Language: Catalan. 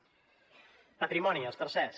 patrimoni els tercers